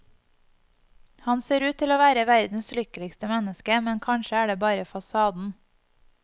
Han ser ut til å være verdens lykkeligste menneske, men kanskje er det bare fasaden.